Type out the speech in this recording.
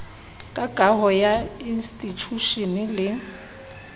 ka kaho ya institjhushene le